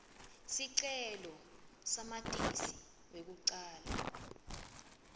sicelo samatisi kwekucala